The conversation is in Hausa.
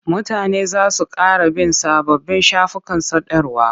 Mutane za su ƙara bin sababbin shafukan sadarwa.